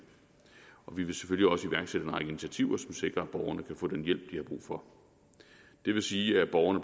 vi vil selvfølgelig også iværksætte en række initiativer som sikrer at borgerne kan få den hjælp de har brug for det vil sige at borgerne